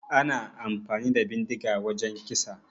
Ana amfani da bindiga wajan kisa